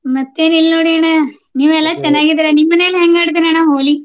ಮತ್ತೇನಿಲ್ಲ ನೋಡಿ ಅಣ್ಣ ನೀವು ಎಲ್ಲಾ ಚೆನ್ನಾಗಿದೀರಾ? ನಿಮ್ಮ್ ಮನೇಲಿ ಹೆಂಗ್ ಆಡಿದ್ರಿ ಅಣ್ಣಾ ಹೋಳಿ?